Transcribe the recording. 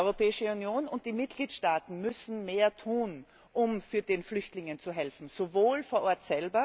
Die Europäische Union und die Mitgliedstaaten müssen mehr tun, um den Flüchtlingen zu helfen auch vor Ort.